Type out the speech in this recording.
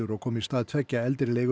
og koma í stað tveggja eldri